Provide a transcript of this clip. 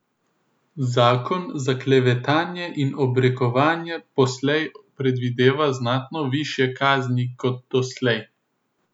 Zakon za klevetanje in obrekovanje poslej predvideva znatno višje kazni kot doslej.